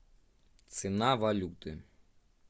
цена валюты